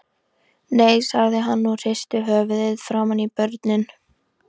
Nei, sagði hann og hristi höfuðið framan í börnin.